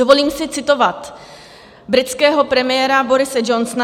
Dovolím si citovat britského premiéra Borise Johnsona.